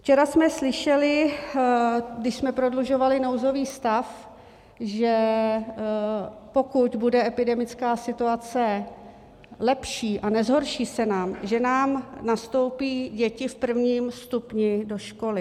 Včera jsme slyšeli, když jsme prodlužovali nouzový stav, že pokud bude epidemická situace lepší a nezhorší se nám, že nám nastoupí děti v prvním stupni do školy.